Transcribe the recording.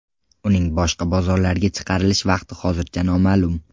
Uning boshqa bozorlarga chiqarilish vaqti hozircha noma’lum.